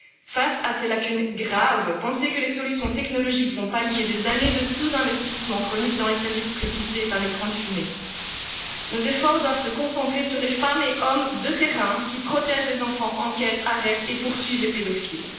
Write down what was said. Face à ces lacunes graves, penser que les solutions technologiques vont pallier des années de sous investissement chronique dans les services précités est un écran de fumée. Nos efforts doivent se concentrer sur les femmes et hommes de terrain qui protègent les enfants, enquêtent, arrêtent et poursuivent les pédophiles.